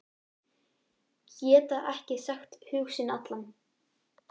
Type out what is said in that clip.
Geta ekki sagt hug sinn allan.